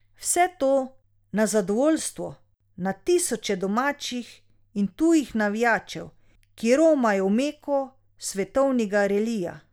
Vse to na zadovoljstvo na tisoče domačih in tujih navijačev, ki romajo v meko svetovnega relija.